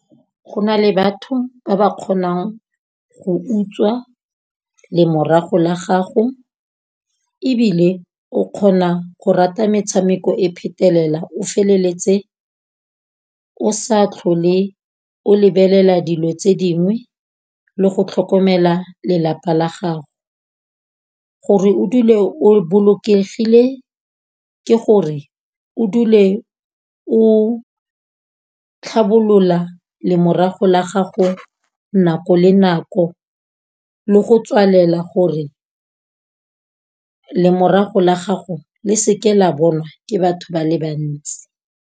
Go na le batho ba ba kgonang go utswa lemorago la gago, ebile o kgona go rata metshameko e phetelela o feleletse o sa tlhole o lebelela dilo tse dingwe le go tlhokomela lelapa la gago. Gore o dule o bolokegile ke gore, o dule o tlhabolola lemorago la gago nako le nako, le go tswalela gore lemorago la gago le se ke la bonwa ke batho ba le bantsi.